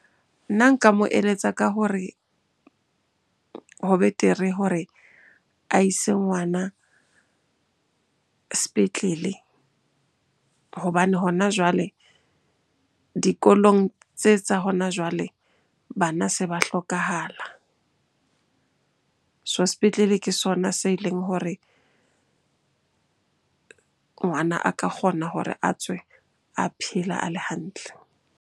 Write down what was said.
Nna nka mo eletsa ka hore ho betere hore a ise ngwana sepetlele hobane hona jwale dikolong tse tsa hona jwale bana se ba hlokahala. So sepetlele ke sona se leng hore ngwana a ka kgona hore a tswe a phela a le hantle.